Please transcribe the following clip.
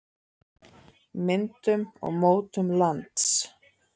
myndun og mótun lands